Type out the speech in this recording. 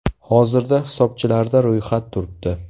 Hozirda hisobchilarda ro‘yxat turibdi.